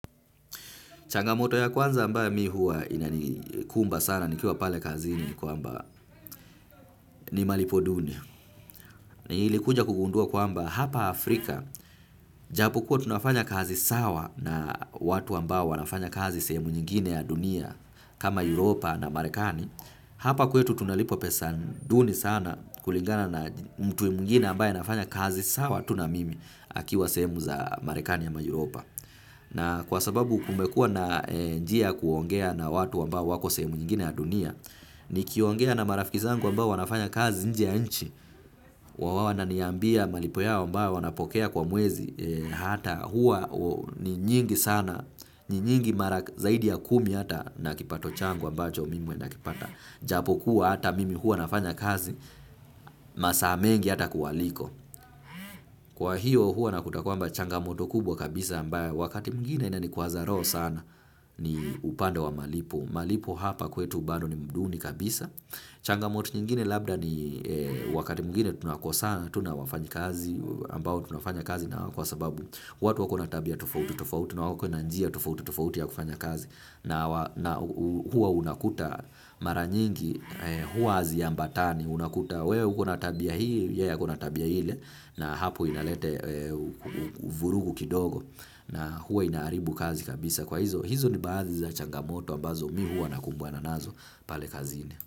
Changamoto ya kwanza ambayo mi huwa ina ni kumba sana ni kuwa pale kazini ni kwamba ni malipo duni. Na nili kuja kugundua kwamba hapa Afrika, japokuwa tunafanya kazi sawa na watu ambao wanafanya kazi sehemu nyingine ya dunia kama Europa na Marekani. Hapa kwetu tunalipwa pesa duni sana kulingana na mtu mwingine ambaye anafanya kazi sawa tu na mimi akiwa sehemu za Marekani ama Europa. Na kwa sababu kumekua na njia ya kuongea na watu ambao wako sehemu nyingine ya dunia, ni kiongea na marafiki zangu ambao wanafanya kazi nje ya inchi, huwa wananiambia malipo yao ambayo wanapokea kwa mwezi, hata huwa ni nyingi sana, ni nyingi mara zaidi ya kumi hata na kipato changu ambacho mimi huwa nakipata. Japo kuwa hata mimi hua nafanya kazi masaa mengi hata kuwaliko. Kwa hiyo huwa nakuta kwamba changamoto kubwa kabisa ambayo wakati mwingine ina nikwaza roho sana. Ni upande wa malipo. Malipo hapa kwetu bado ni mduni kabisa. Changamoto nyingine labda ni wakati mwingine tunakosana. Tunawafanyakazi ambao tunafanya kazi nawao kwa sababu watu wako na tabia tofauti tofauti. Na wako na njia tofauti tofauti ya kufanya kazi. Na huwa unakuta mara nyingi huwa haziambatani unakuta wewe uko na tabia hii yeye akona tabia ile na hapo inalete uvurugu kidogo na huwa inaharibu kazi kabisa kwa hizo hizo ni baadhi za changamoto ambazo mi hua nakumbana nazo pale kazini.